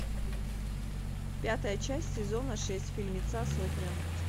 пятая часть сезона шесть фильмеца сотня